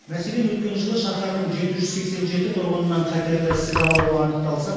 мәселен өткен жылы шаһардың жеті жүз сексен жеті тұрғынынан қатерлі ісік ауруы анықталса